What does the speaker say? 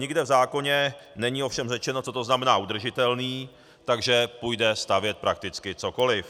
Nikde v zákoně není ovšem řečeno, co to znamená udržitelný, takže půjde stavět prakticky cokoliv.